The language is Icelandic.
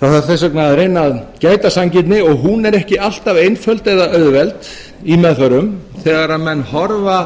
það þarf þess vegna að reyna að gæta sanngirni og hún er ekki alltaf einföld eða auðveld í meðförum þegar menn horfa